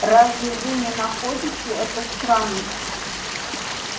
разве вы не находите это странным